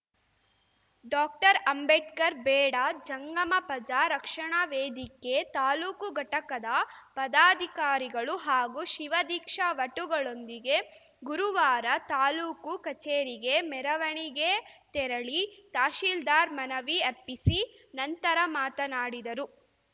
doctor Ambedkar Beda Jangama ಪಜಾ ರಕ್ಷಣ ವೇದಿಕೆ ತಾಲೂಕು ಘಟಕದ ಪದಾಧಿಕಾರಿಗಳು ಹಾಗೂ ಶಿವದೀಕ್ಷಾ ವಟುಗಳೊಂದಿಗೆ ಗುರುವಾರ ತಾಲೂಕು ಕಚೇರಿಗೆ ಮೆರವಣಿಗೆ ತೆರಳಿ ತಹಶೀಲ್ದಾರ್‌ ಮನವಿ ಅರ್ಪಿಸಿ ನಂತರ ಮಾತನಾಡಿದರು